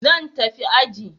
Zan tafi aji.